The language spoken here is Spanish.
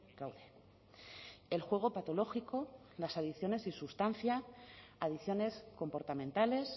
gaude el juego patológico las adiciones sin sustancia adicciones comportamentales